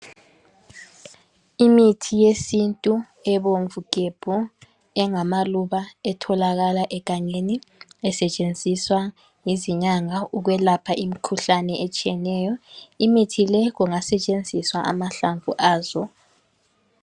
Imithi yesintu ebomvu gebhu engamaluba etholakala egangeni esetshenziswa yizinyanga ukwelapha imkhuhlane etshiyeneyo. Imithi le kungasetshenziswa amahlamvu azo